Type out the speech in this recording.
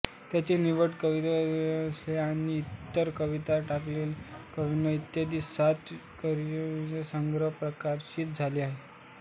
त्यांचे निवडक कविता रेसकोर्स आणि इतर कविता टाळलेल्या कविता इत्यादी सात कवितासंग्रह प्रकाशित झाले आहेत